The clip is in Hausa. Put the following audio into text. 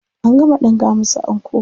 An gama ɗinka musu anko.